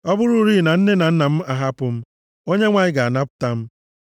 Ọ bụrụrị na nne na nna m ahapụ m, Onyenwe anyị ga-anabata m.